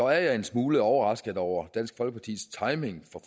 jeg en smule overrasket over dansk folkepartis timing